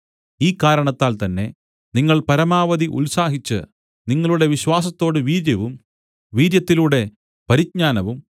ഈ കാരണത്താൽ തന്നെ നിങ്ങൾ പരമാവധി ഉത്സാഹിച്ച് നിങ്ങളുടെ വിശ്വാസത്തോട് വീര്യവും വീര്യത്തിലൂടെ പരിജ്ഞാനവും